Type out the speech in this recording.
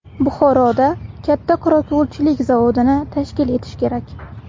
Buxoroda katta qorako‘lchilik zavodini tashkil etish kerak.